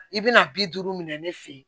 I bɛna bi duuru minɛ ne fɛ yen